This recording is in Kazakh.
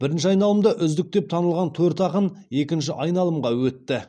бірінші айналымда үздік деп танылған төрт ақын екінші айналымға өтті